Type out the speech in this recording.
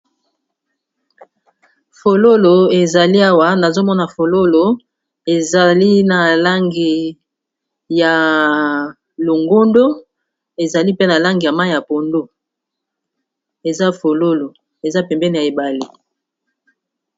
Fololo ezali awa nazo mona fololo ezali na langi ya longondo, ezali pe na langi ya mayi ya pondu, eza fololo eza pembeni ya mayi ya ebale.